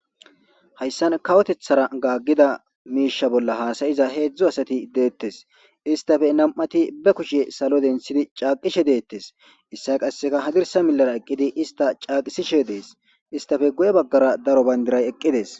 hayssan kawotethara gaaggida miisha bolla haasayiza heedzdzu asati deettes istafe nam7ati be kushiye salo denthidi caaqishe deettes issa qasseka hadirsa milara eqqidi ista caaqisishe dees istafe go7e baggara daro bayndiray eqqidees